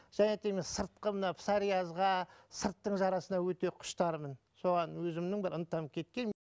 және де мен сыртқы мына псориазға сырттың жарасына өте құштармын соған өзімнің бір ынтам кеткен